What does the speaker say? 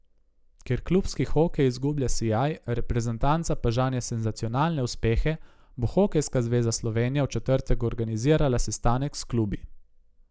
Ker klubski hokej izgublja sijaj, reprezentanca pa žanje senzacionalne uspehe, bo Hokejska zveza Slovenija v četrtek organizirala sestanek s klubi.